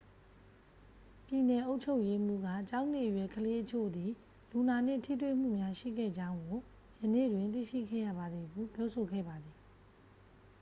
"ပြည်နယ်အုပ်ချုပ်ရေးမှူးက""ကျောင်းနေအရွယ်ကလေးအချို့သည် လူနာနှင့်ထိတွေ့မှုများရှိခဲ့ကြောင်းကို ယနေ့တွင် သိရှိခဲ့ရပါသည်" ဟု ပြောဆိုခဲ့ပါသည်။